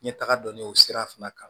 Ɲɛ taga dɔn ne y'o sira fana kan